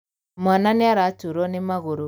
Mwana nĩaraturwo nĩmagũrũ.